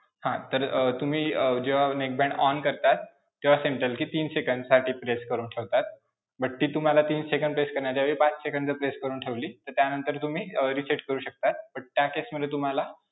हां. तर अं तुम्ही अं जेव्हा neckband on करता तेव्हा central key तीन सेकंदसाठी press करून ठेवता, but key तुम्हाला तीन सेकंद press करण्याच्याऐवजी पाच सेकंद press करून ठेवली तर त्यानंतर तुम्ही अं reset करू शकता पण त्या case मध्ये तुम्हाला